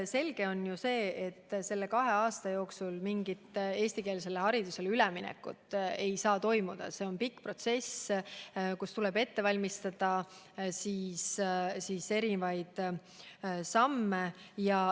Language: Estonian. Selge on see, et selle kahe aasta jooksul mingit eestikeelsele haridusele üleminekut ei saa toimuda, see on pikk protsess, mille korral tuleb ette valmistada mitmeid samme.